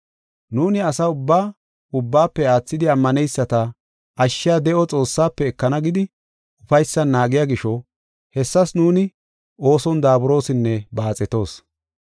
Nuuni asa ubbaa, ubbaafe aathidi ammaneyisata ashshiya de7o Xoossaafe ekana gidi ufaysan naagiya gisho, hessas nuuni ooson daaburosinne baaxetoos.